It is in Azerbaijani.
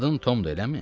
Adın Tomdur, eləmi?